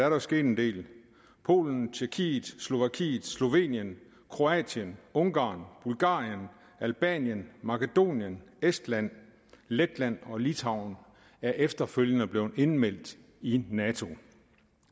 jo sket en del polen tjekkiet slovakiet slovenien kroatien ungarn bulgarien albanien makedonien estland letland og litauen er efterfølgende blevet indmeldt i nato